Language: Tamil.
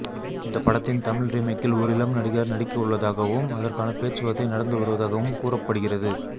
இந்த படத்தின் தமிழ் ரீமேக்கில் ஒரு இளம் நடிகர் நடிக்கவுள்ளதாகவும் அதற்கான பேச்சுவார்த்தை நடந்து வருவதாகவும் கூறப்படுகிறது